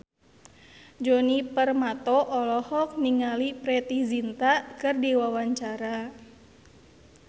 Djoni Permato olohok ningali Preity Zinta keur diwawancara